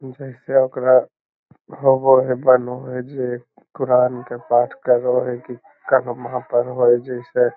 जैसे ओकरा होवो हय बनो हय जे क़ुरान के पाठ करो हय की कलमा पढ़ो हय जैसे --